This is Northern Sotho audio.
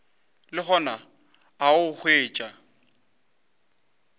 le gona o a hwetšwa